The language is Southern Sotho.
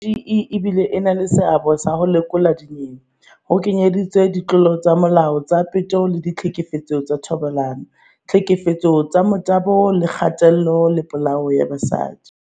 "CGE e bile e na le seabo sa ho lekola dinyewe, ho kenyeletswa ditlolo tsa molao tsa peto le ditlhekefetso ka thobalano, tlhekefetso ka motabo le kgatello le polao ya basadi."